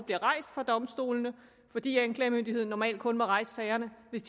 bliver rejst for domstolene fordi anklagemyndigheden normalt kun må rejse sagerne hvis